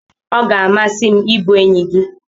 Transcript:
Ọ ga-amasị m ịbụ enyi gị.